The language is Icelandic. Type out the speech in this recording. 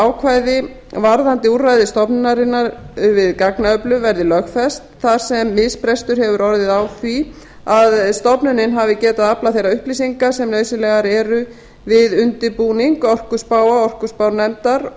ákvæði varðandi úrræði stofnunarinnar við gagnaöflun verði lögfest þar sem misbrestur hefur orðið á því að stofnunin hafi getað aflað þeirra upplýsinga sem nauðsynlegar eru við undirbúning orkuspáa orkuspárnefndar